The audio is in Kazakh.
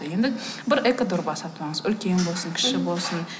енді бір экодорба сатып алыңыз үлкен болсын кіші болсын